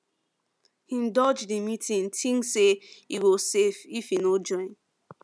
him dodge the meeting thinks say e go safe if e no join